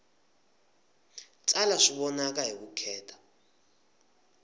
tsala swi vonaka hi vukheta